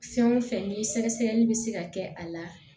Fɛn o fɛn ni sɛgɛsɛgɛli bɛ se ka kɛ a la